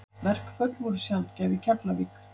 Verkföll voru sjaldgæf í Keflavík.